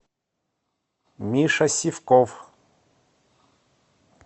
миша сивков